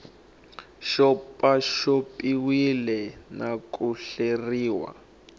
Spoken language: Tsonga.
xopaxop iwile na ku hleriwa